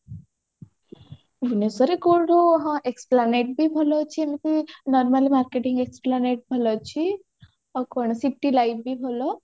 ଭୁବନେଶ୍ବର କୋଉଠୁ ହଁ esplanade ବି ଭଲ ଅଛି ହଁ ଏମିତି normal marketing esplanade ଭଲ ଅଛି ଆଉ କଣ city life ବି ଭଲ